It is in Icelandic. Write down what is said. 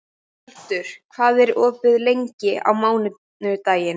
Tjaldur, hvað er opið lengi á mánudaginn?